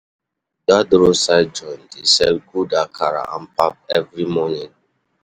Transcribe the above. Dat roadside joint dey sell good akara and pap every morning.